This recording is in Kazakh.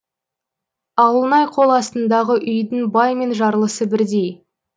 ауылнай қол астындағы үйдің бай мен жарлысы бірдей